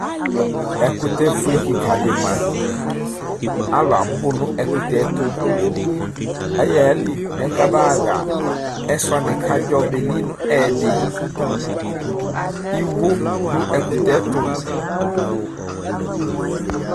Ɛkʋtɛ fue kika di ma alʋ abʋnʋ ɛkʋtɛtʋ ayaxa ayili mɛ kabaaxa ɛsɛ wani kʋ adzɔ beli nʋ ɛyɛdi iwo dʋ ɛkutɛ tʋ